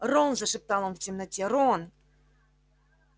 рон зашептал он в темноте рон